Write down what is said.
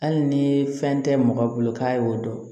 Hali ni fɛn tɛ mɔgɔ bolo k'a y'o dɔn